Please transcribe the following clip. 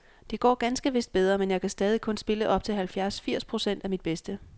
Det går ganske vist bedre, men jeg kan stadig kun spille op til halvfjerds firs procent af mit bedste.